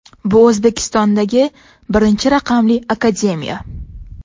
Bu O‘zbekistondagi birinchi raqamli akademiya.